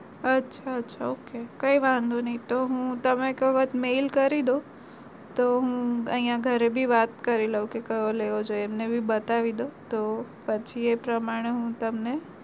અચ્છા અચ્છા okay કઈ વાંધો નઈ તો હું mail કરીદઉ તો પછી એ પ્રમાણે હું તમને